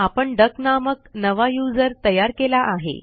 आपण डक नामक नवा यूझर तयार केला आहे